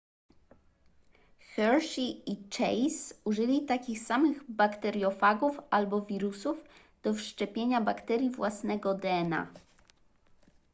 hershey i chase użyli takich samych bakteriofagów albo wirusów do wszczepienia bakterii własnego dna